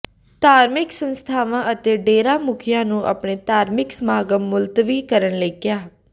ਧਾਰਮਿਕ ਸੰਸਥਾਵਾਂ ਅਤੇ ਡੇਰਾ ਮੁਖੀਆਂ ਨੂੰ ਆਪਣੇ ਧਾਰਮਿਕ ਸਮਾਗਮ ਮੁਲਤਵੀ ਕਰਨ ਲਈ ਕਿਹਾ